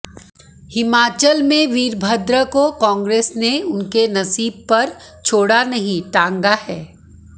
हिमाचल में वीरभद्र को कांग्रेस ने उनके नसीब पर छोड़ा नहीं टांगा है